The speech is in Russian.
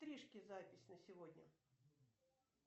стрижки запись на сегодня